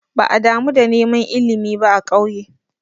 Ba'a damu da neman ilimi ba a ƙauye.